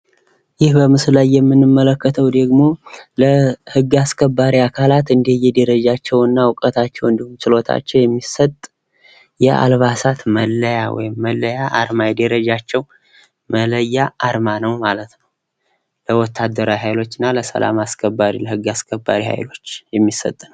ይህ በምስሉ ላይ የምንመለከተው ዴግሞ ለህግ አስከባሪ አካላት እንደየ ደረጃቸው ፣እውቀታቸው እንዲሁም ችሎታቸው የሚሰጥ የአልባሳት መለያ ወይም መለያ አርማ የደረጃ መለያ አርማ ነው ማለት ነው ። የወታደራዊ ሀይሎች ና የህግ አስከባሪ ሃይሎች የሚሰጦ ነው ።